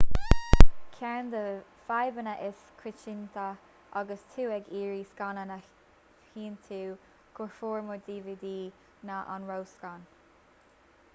ceann de na fadhbanna is coitianta agus tú ag iarraidh scannán a thiontú go formáid dvd ná an ró-scan